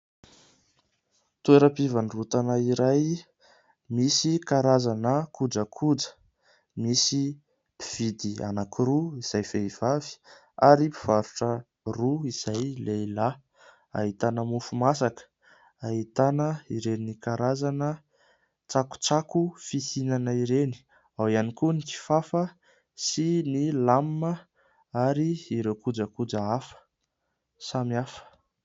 Toeram-pivarotana iray misy karazana kojakoja; misy mpividy anakiroa izay vehivavy ary mpivarotra roa izay lehilahy. Ahitana mofo masaka, ahitana ireny karazana tsakotsako fihinana ireny, ao iany koa ny kifafa, sy ny lamba ary ireo kojakoja hafa, samihafa.